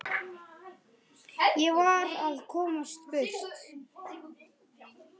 Ég varð að komast burt.